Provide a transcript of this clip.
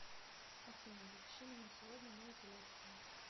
афина запиши меня сегодня на эпиляцию